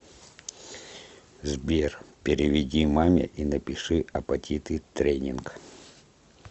сбер переведи маме и напиши апатиты тренинг